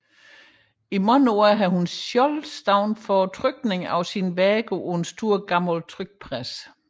I mange år har hun selv forestået trykningen af sine værker på en stor gammel trykpresse